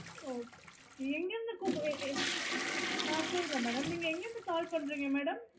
இல்ல நாங்க search பண்ணோம் அதோட details எங்களுக்கு